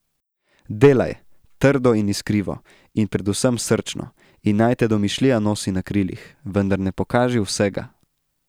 Delaj, trdo in iskrivo, in predvsem srčno, in naj te domišljija nosi na krilih, vendar ne pokaži vsega.